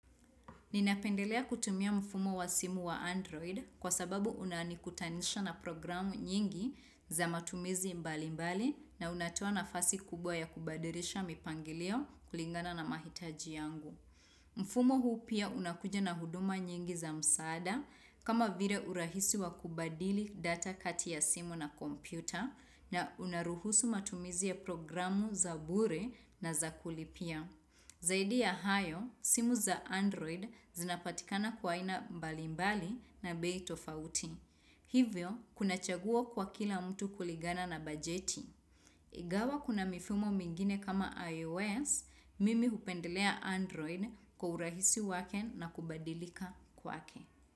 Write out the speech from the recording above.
Ninapendelea kutumia mfumo wa simu wa Android kwa sababu unani kutanisha na programu nyingi za matumizi mbali mbali na unatoa nafasi kubwa ya kubadilisha mipangilio kulingana na mahitaji yangu. Mfumo huu pia unakuja na huduma nyingi za msaada kama vile urahisi wa kubadili data kati ya simu na kompyuta na unaruhusu matumizi ya programu za bure na za kulipia. Zaidi ya hayo, simu za Android zinapatikana kwa aina mbalimbali na bei tofauti. Hivyo, unachagua kwa kila mtu kulingana na bajeti. Ingawa kuna mifumo mingine kama iOS, mimi upendelea Android kuhurahisi wake na kubadilika kwake.